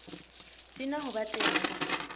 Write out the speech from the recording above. di na ho ba teng